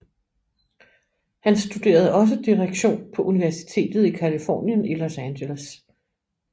Han studerede også direktion på Universitetet i Californien i Los Angeles